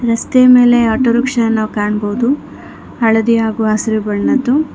ರಸ್ತೆ ಮೇಲೆ ಆಟೋರಿಕ್ಷಾ ನಾವು ಕಾಣಬಹುದು ಹಳದಿಯಾಗುವ ಹಸಿರು ಬಣ್ಣದ್ದು--